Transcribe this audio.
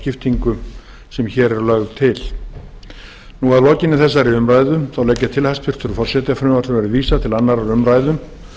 skiptingu sem hér er lögð til hæstvirtur forseti að lokinni þessari umræðu legg ég til að frumvarpinu verði vísað til annarrar umræðu